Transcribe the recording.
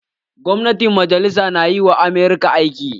Gwamnatin majalisa na yi wa Amurka aiki